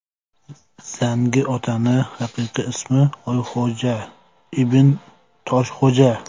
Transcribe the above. Zangi otaning haqiqiy ismi Oyxo‘ja Ibn Toshxo‘ja.